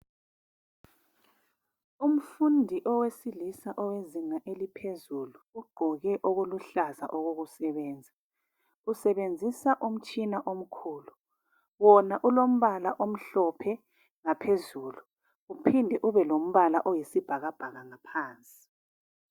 Umfundi owesilisa owezinga eliphezulu ugqoke okuluhlaza okokusebenza, usebenzisa umtshina omkhulu wona ulombala omhlophe ngaphezulu uphinde ubelombala oyisibhakabhaka ngaphansi.